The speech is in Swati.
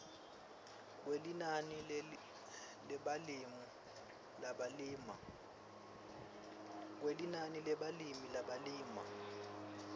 kwelinani lebalimi labalima